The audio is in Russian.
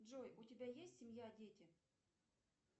джой у тебя есть семья дети